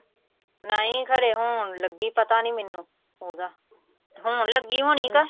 ਨਹੀਂ ਖਰੇ ਹੁਣ ਲੱਗੀ ਪਤਾ ਨੀ ਮੈਨੂੰ ਉਹਦਾ ਹੁਣ ਲੱਗੀ ਹੋਣੀ ਕਿ